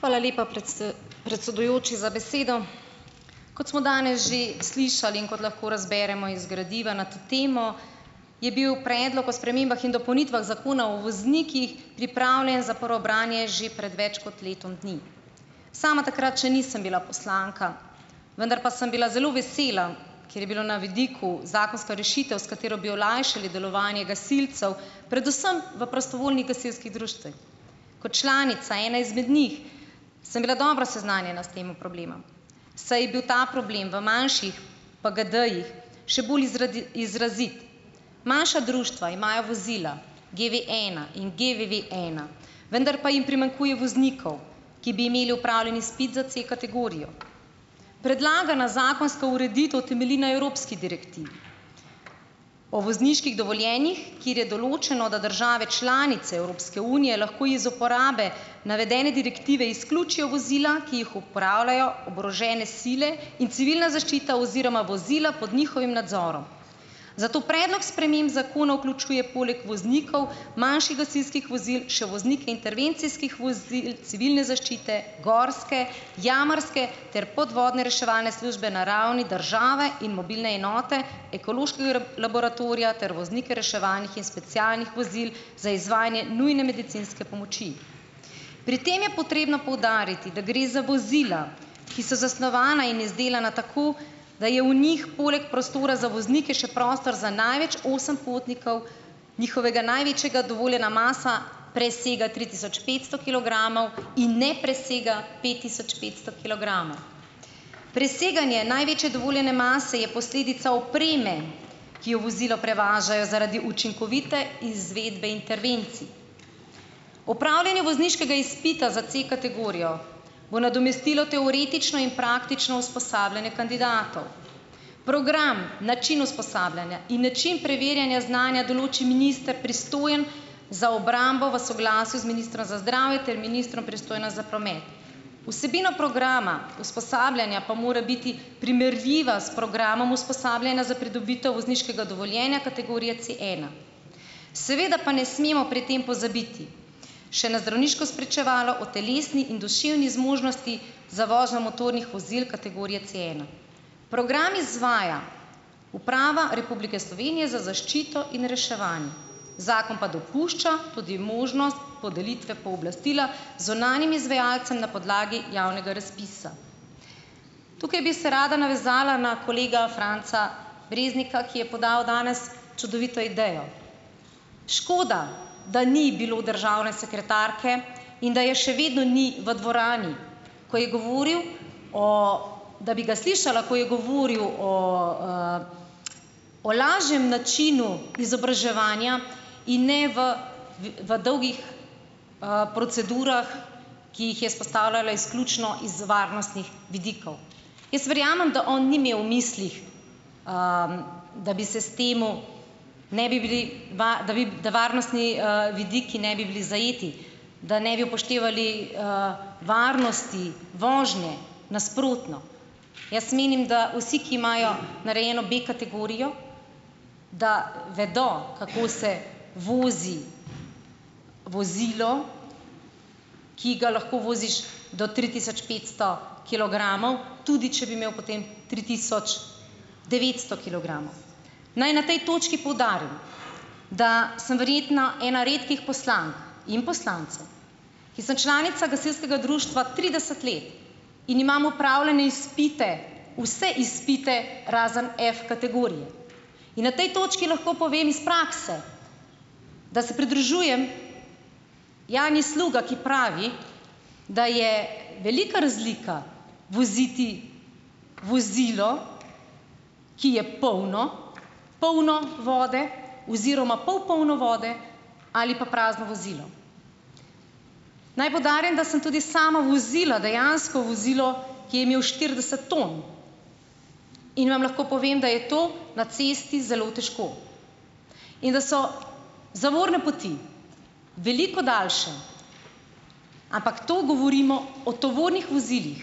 Hvala lepa, predsedujoči za besedo. Kot smo danes že slišali in kot lahko razberemo iz gradiva na to temo, je bil predlog o spremembah in dopolnitvah Zakona o voznikih pripravljen za prvo branje že pred več kot letom dni. Sama takrat še nisem bila poslanka, vendar pa sem bila zelo vesela, ker je bila na vidiku zakonska rešitev, s katero bi olajšali delovanje gasilcev, predvsem v prostovoljnih gasilskih društvih. Kot članica, ena izmed njih, sem bila dobro seznanjena s temo problema, saj je bil ta problem v manjših PGD-jih še bolj izrazit. Manjša društva imajo vozila GVena in GVVena, vendar pa jim primanjkuje voznikov ki bi imeli opravljen izpit za C-kategorijo. Predlagana zakonska ureditev temelji na evropski direktivi o vozniških dovoljenjih, kjer je določeno, da države članice Evropske unije lahko iz uporabe navedene direktive izključijo vozila, ki jih opravljajo oborožene sile in civilna zaščita oziroma vozila pod njihovim nadzorom. Zato predlog sprememb zakona vključuje poleg voznikov manjših gasilskih vozil še voznike intervencijskih vozil, civilne zaščite, gorske, jamarske ter podvodne reševalne službe na ravni države in mobilne enote, ekološkega laboratorija ter voznike reševalnih in specialnih vozil za izvajanje nujne medicinske pomoči. Pri tem je potrebno poudariti, da gre za vozila, ki so zasnovana in izdelana tako, da je v njih poleg prostora za voznike še prostor za največ osem potnikov, njihova največja dovoljena masa presega tri tisoč petsto kilogramov in ne presega pet tisoč petsto kilogramov. Preseganje največje dovoljene mase je posledica opreme, ki jo vozilo prevažajo zaradi učinkovite izvedbe intervencij. Opravljanje vozniškega izpita za C-kategorijo bo nadomestilo teoretično in praktično usposabljanje kandidatov, program, način usposabljanja in način preverjanja znanja določi minister, pristojen za obrambo v soglasju z ministrom za zdravje ter ministrom, pristojnim za promet. Vsebina programa usposabljanja pa mora biti primerljiva s programom usposabljanja za pridobitev vozniškega dovoljenja kategorije Cena. Seveda pa ne smemo pri tem pozabiti še na zdravniško spričevalo o telesni in duševni zmožnosti za vožnjo motornih vozil kategorije Ceena. Program izvaja Uprava Republike Slovenije za zaščito in reševanje, zakon pa dopušča tudi možnost podelitve pooblastila zunanjim izvajalcem na podlagi javnega razpisa. Tukaj bi se rada navezala na kolega Franca Breznika, ki je podal danes čudovito idejo. Škoda, da ni bilo državne sekretarke, in da je še vedno ni v dvorani, ko je govoril, o, da bi ga slišala, ko je govoril o, o lažjem načinu izobraževanja in ne v v dolgih, procedurah, ki jih je izpostavljala izključno iz varnostnih vidikov. Jaz verjamem, da on ni imel v mislih, da bi se s tem, ne bi bili da bi da varnostni, vidiki ne bi bili zajeti. Da ne bi upoštevali, varnosti vožnje. Nasprotno, jaz menim, da vsi, ki imajo narejeno B-kategorijo, da vedo, kako se vozi vozilo, ki ga lahko voziš do tri tisoč petsto kilogramov, tudi če bi imel potem tri tisoč devetsto kilogramov. Naj na tej točki poudarim, da sem verjetna ena redkih poslank in poslancev, ki sem članica gasilskega društva trideset let in imam opravljene izpite, vse izpite, razen F-kategorije. In na tej točki lahko povem iz prakse, da se pridružujem Janji Sluga, ki pravi, da je velika razlika voziti vozilo, ki je polno, polno vode oziroma pol polno vode ali pa prazno vozilo. Naj poudarim, da sem tudi sama vozila dejansko vozilo, ki je imelo štirideset ton, in vam lahko povem, da je to na cesti zelo težko. In da so zavorne poti veliko daljše, ampak to govorimo o tovornih vozilih,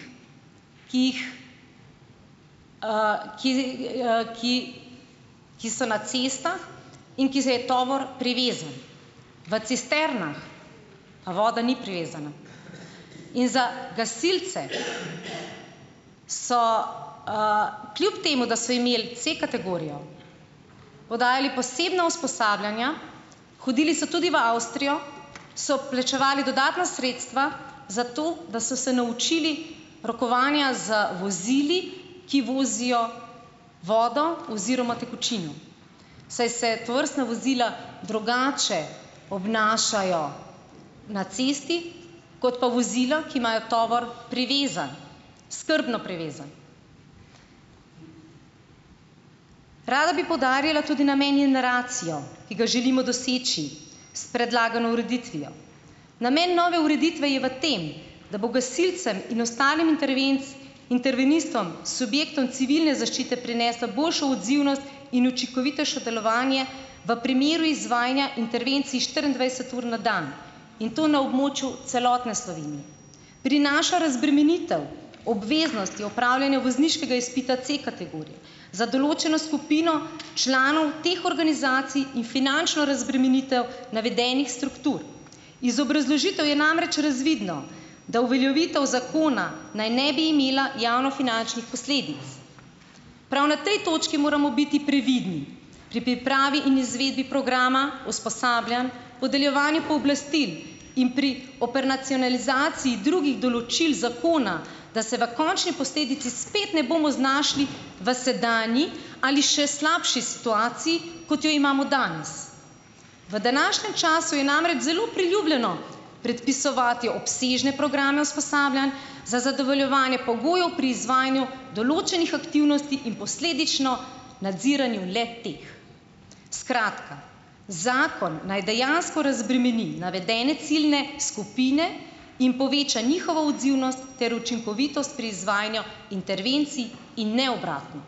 ki jih, ki, ki, ki so na cestah in je tovor privezan. V cisternah pa voda ni privezana. In za gasilci so, kljub temu da so imeli C-kategorijo, podajali posebna usposabljanja, hodili so tudi v Avstrijo, so plačevali dodatna sredstva, zato da so se naučili rokovanja z vozili, ki vozijo vodo oziroma tekočino, saj se tovrstna vozila drugače obnašajo na cesti, kot pa vozila, ki imajo tovor privezan, skrbno privezan. Rada bi poudarila tudi namen in naracijo, ki ga želimo doseči s predlagano ureditvijo. Namen nove ureditve je v tem, da bo gasilcem in ostalim intervenistom s subjektom civilne zaščite prinesla boljšo odzivnost in učinkovitejšo delovanje v primeru izvajanja intervencij štiriindvajset ur na dan in to na območju celotne Slovenije. Prinaša razbremenitev obveznosti opravljanja vozniškega izpita C-kategorije, za določeno skupino članov teh organizacij in finančno razbremenitev navedenih struktur. Iz obrazložitev je namreč razvidno, da uveljavitev zakona naj ne bi imela javnofinančnih posledic. Prav na tej točki moramo biti previdni pri pripravi in izvedbi programa, usposabljanj, podeljevanja pooblastil in pri operacionalizaciji drugih določil zakona. Da se v končni posledici spet ne bomo znašli v sedanji ali še slabši situaciji, kot jo imamo danes. V današnjem času je namreč zelo priljubljeno predpisovati obsežne programe usposabljanj, za zadovoljevanje pogojev pri izvajanju določenih aktivnosti in posledično nadziranju le-teh. Skratka, zakon naj dejansko razbremeni navedene ciljne skupine in poveča njihovo odzivnost ter učinkovitost pri izvajanju intervencij in ne obratno.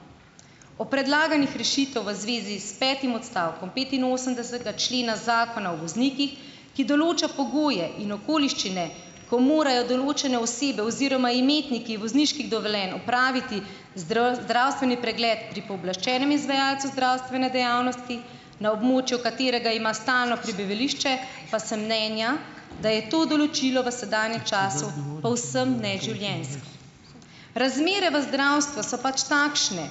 O predlaganih rešitev v zvezi s petim odstavkom petinosemdesetega člena Zakona o voznikih, ki določa pogoje in okoliščine, ko morajo določene osebe oziroma imetniki vozniških dovoljenj opraviti zdravstveni pregled pri pooblaščenem izvajalcu zdravstvene dejavnosti, na območju katerega ima stalno prebivališče, pa sem mnenja, da je to določilo v sedanjem času povsem neživljenjsko. Razmere v zdravstvu so pač takšne,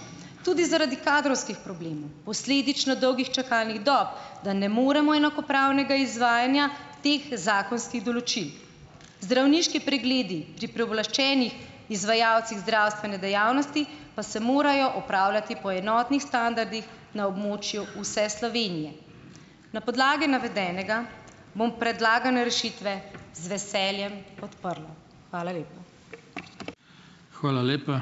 tudi zaradi kadrovskih problemov, posledično dolgih čakalnih dob, da ne moremo enakopravnega izvajanja teh zakonskih določil. Zdravniški pregledi pri pooblaščenih izvajalcih zdravstvene dejavnosti pa se morajo opravljati po enotnih standardih na območju vse Slovenije. Na podlagi navedenega bom predlagane rešitve z veseljem podprla. Hvala lepa.